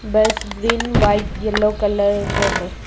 बस green white yellow colour में है।